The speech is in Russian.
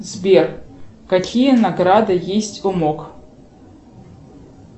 сбер какие награды есть у мок